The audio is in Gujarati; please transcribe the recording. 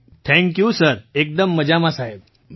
મંજૂરજી થેંક્યૂ સરએકદમ મજામાં સાહેબ